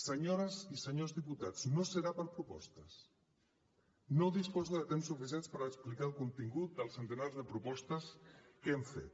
senyores i senyors diputats no serà per propostes no disposo de temps suficient per explicar el contingut del centenar de propostes que hem fet